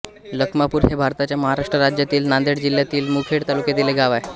लखमापूर हे भारताच्या महाराष्ट्र राज्यातील नांदेड जिल्ह्यातील मुखेड तालुक्यातील एक गाव आहे